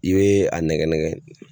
I bɛ a nɛgɛ nɛgɛ.